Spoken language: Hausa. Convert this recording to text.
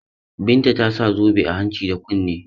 Binta ta sa zobe a hanci da kunni.